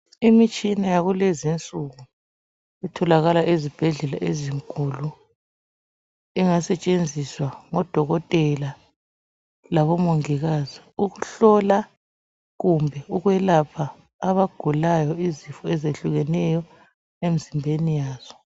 Imitshina yakulezinsuku itholakala ezibhedlela ezinkulu engasetshenziswa ngo dokotela labo mongikazi ukuhlola, kumbe ukwelapha abagulayo izifo eziyehlukeneyo emizimbeni yazo.